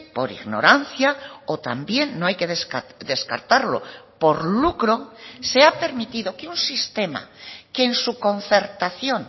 por ignorancia o también no hay que descartarlo por lucro se ha permitido que un sistema que en su concertación